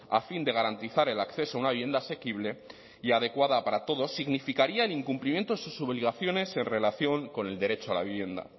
a fin de garantizar el acceso a una vivienda asequible y adecuada para todos significaría el incumplimiento de sus obligaciones en relación con el derecho a la vivienda